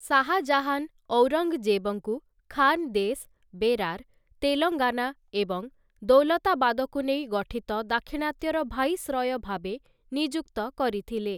ଶାହା ଜାହାନ୍, ଔରଙ୍ଗ୍‌ଜେବ୍‌ଙ୍କୁ ଖାନ୍‌ଦେଶ୍‌, ବେରାର୍‌, ତେଲଙ୍ଗାନା ଏବଂ ଦୌଲତାବାଦକୁ ନେଇ ଗଠିତ ଦାକ୍ଷିଣାତ୍ୟର ଭାଇସ୍‌ରୟ ଭାବେ ନିଯୁକ୍ତ କରିଥିଲେ ।